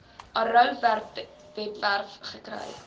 arrow webwerf gekry